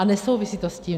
A nesouvisí to s tím.